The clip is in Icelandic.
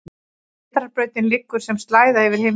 Vetrarbrautin liggur sem slæða yfir himinninn.